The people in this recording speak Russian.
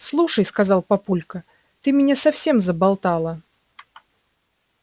слушай сказал папулька ты меня совсем заболтала